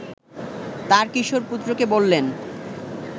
তাঁর কিশোর পুত্রকে বললেন